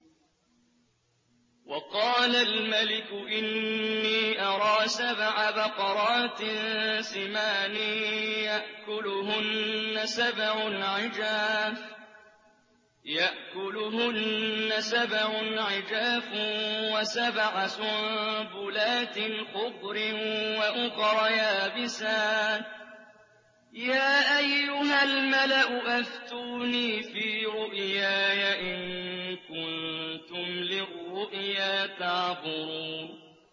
وَقَالَ الْمَلِكُ إِنِّي أَرَىٰ سَبْعَ بَقَرَاتٍ سِمَانٍ يَأْكُلُهُنَّ سَبْعٌ عِجَافٌ وَسَبْعَ سُنبُلَاتٍ خُضْرٍ وَأُخَرَ يَابِسَاتٍ ۖ يَا أَيُّهَا الْمَلَأُ أَفْتُونِي فِي رُؤْيَايَ إِن كُنتُمْ لِلرُّؤْيَا تَعْبُرُونَ